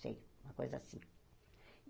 Sei, uma coisa assim.